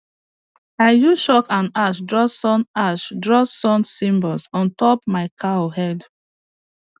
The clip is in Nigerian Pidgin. i use chalk and ash draw sun ash draw sun symbols on top my cow head